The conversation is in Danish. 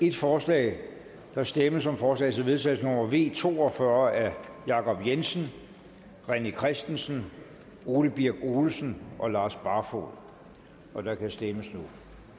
et forslag der stemmes om forslag til vedtagelse nummer v to og fyrre af jacob jensen rené christensen ole birk olesen og lars barfoed og der kan stemmes nu